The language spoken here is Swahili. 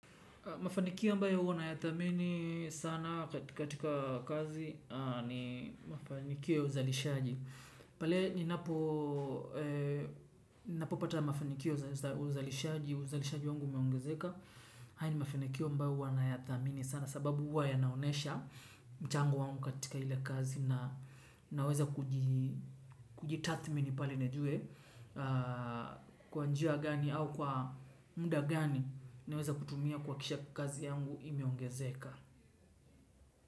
Mafanikio ambayo huwa nayathamini sana katika kazi, ni mafanikio ya uzalishaji. Pale ninapo ninapopata mafanikio ya uzalishaji, uzalishaji wangu umeongezeka. Haya ni mafanikio ambayo huwa nayadhamini sana sababu huwa yanaonyesha mchango wangu katika ile kazi. Naweza kujitathimini pale nijue kwa njia gani au kwa muda gani naweza kutumia, kuhakikisha kuwa kazi yangu imeongezeka.